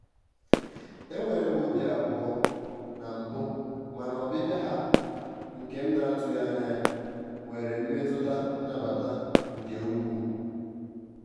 enwere m obi abụọ na mbụ mana ọbịbịa ha nke m na-atụghị anya nwere mmetụta nnabata nke ukwuu.